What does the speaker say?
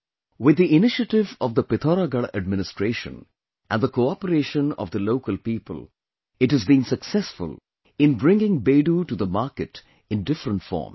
With the initiative of the Pithoragarh administration and the cooperation of the local people, it has been successful in bringing Bedu to the market in different forms